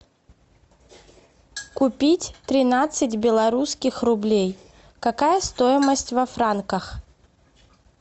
купить тринадцать белорусских рублей какая стоимость во франках